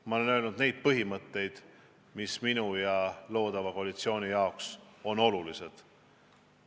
Ma olen rääkinud põhimõtetest, mis minu ja loodava koalitsiooni jaoks on olulised.